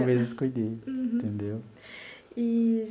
Eu mesmo escolhi, entendeu? Eee.